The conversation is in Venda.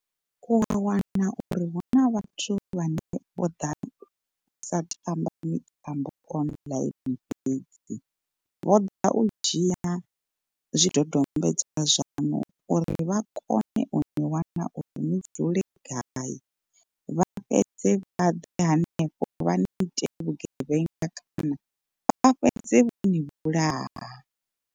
U a wana uri huna vhathu vhane vho ḓa u sa tamba mitambo online fhedzi, vho ḓa u dzhia zwidodombedzwa zwaṋu uri vha kone uni wana uri ni dzule gai, vha fhedze vha ḓe henefho vha ni ite vhugevhenga kana vha fhedze vho ni vhulaha.